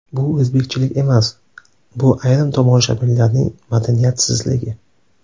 Bu o‘zbekchilik emas bu ayrim tomoshabinlarning madaniyatsizligi.